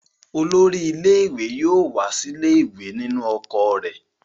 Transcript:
Olórí ilé-ìwé yóò wá sílé ìwé nínú ọkọ̀ rẹ̀.